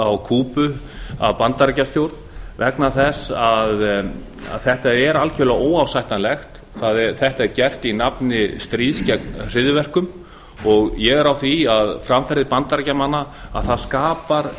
á kúbu af bandaríkjastjórn vegna þess að þetta er algjörlega óásættanlegt þetta er gert í nafni stríðs gegn hryðjuverkum ég er á því að framferði bandaríkjamanna skapar